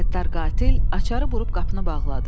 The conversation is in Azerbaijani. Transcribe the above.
Qəddar qatil açarı burub qapını bağladı.